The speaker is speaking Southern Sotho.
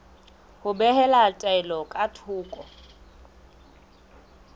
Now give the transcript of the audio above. ho behela taelo ka thoko